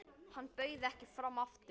Hann bauð ekki fram aftur.